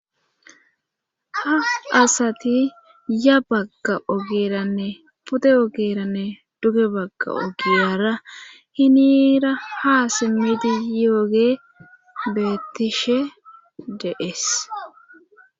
ha asati ya bagga ogeranne pude ogeranne duge bagga ogiyara hinira ha simmidi yooge beettishe deees